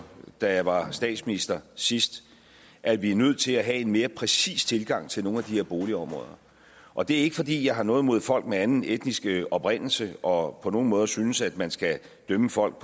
da jeg var statsminister sidst at vi er nødt til at have en mere præcis tilgang til nogle af de her boligområder og det er ikke fordi jeg har noget imod folk med anden etnisk oprindelse og på nogen måde synes at man skal dømme folk